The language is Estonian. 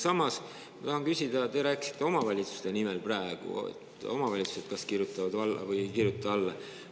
Samas tahan ma küsida selle kohta, et te rääkisite praegu omavalitsuste nimel, et omavalitsused kas kirjutavad alla või ei kirjuta alla.